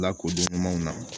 Lakodɔn ɲumanw na